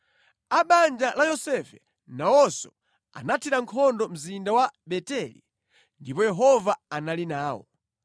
A banja la Yosefe nawonso anathira nkhondo mzinda wa Beteli, ndipo Yehova anali nawo.